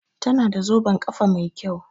Tana da zoben kafa Mai kyau.